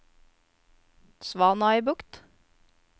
Svanøybukt